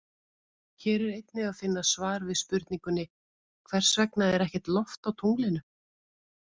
Hér er einnig að finna svar við spurningunni Hvers vegna er ekkert loft á tunglinu?